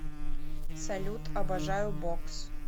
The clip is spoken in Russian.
салют обожаю бокс